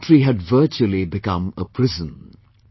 The country had virtually become a prison